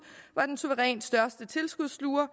var den suverænt største tilskudssluger